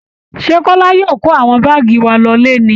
Ṣé kọ́lá yóò kó àwọn báàgì wa lọle ni